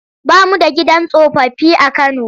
Ba mu da gidan tsofaffi a Kano.